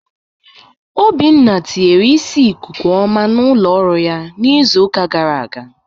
Obinna tinyere ìsiì ikuku oma n'ụlọọrụ ya n'izuụka gara aga.